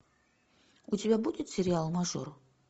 у тебя будет сериал мажор